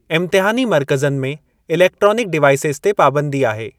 इम्तिहानी मर्कज़नि में electronic devices ते पाबंदी आहे।